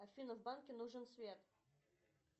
афина в банке нужен свет